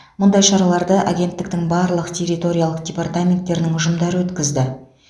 мұндай шараларды агенттіктің барлық территориялық департаменттерінің ұжымдары өткізді